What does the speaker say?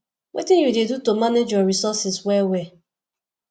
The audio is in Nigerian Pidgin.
wetin you dey do to manage your resources well well